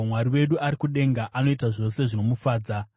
Mwari wedu ari kudenga; anoita zvose zvinomufadza.